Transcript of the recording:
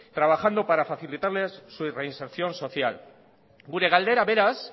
trabajando para facilitarles su reinserción social gure galdera beraz